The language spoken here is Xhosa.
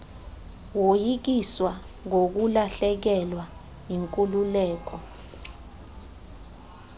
woyikiswa ngokulahlekelwa yinkululeko